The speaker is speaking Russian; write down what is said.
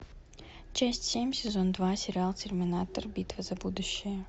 часть семь сезона два сериал терминатор битва за будущее